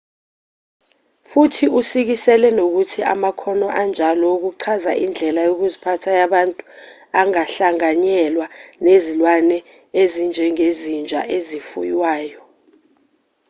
futhi usikisele nokuthi amakhono anjalo wokuchaza indlela yokuziphatha yabantu angahlanganyelwa nezilwane ezinjengezinja ezifuywayo